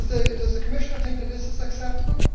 Does the Commissioner think that this is acceptable?